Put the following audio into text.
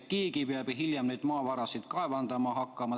Keegi peab ju hiljem maavarasid kaevandama hakkama.